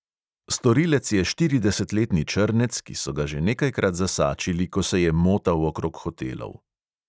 Storilec je štiridesetletni črnec, ki so ga že nekajkrat zasačili, ko se je motal okrog hotelov.